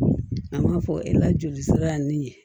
An b'a fɔ e la joli sira in ye